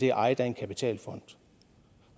er ejet af en kapitalfond